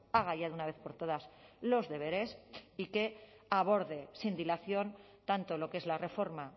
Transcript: haga ya de una vez por todas los deberes y que aborde sin dilación tanto lo que es la reforma